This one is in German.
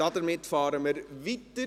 Wir fahren weiter.